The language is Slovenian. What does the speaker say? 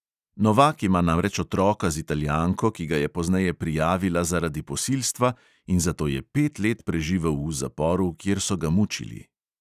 Novak ima namreč otroka z italijanko, ki ga je pozneje prijavila zaradi posilstva, in zato je pet let preživel v zaporu, kjer so ga mučili.